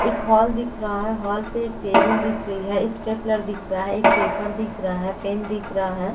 एक हॉल दिख रहा है हॉल पे एक टेबिल दिख रही है इस्टेप्लेर दिख रहा है एक पेपर दिख रहा है पेन दिख रहा है।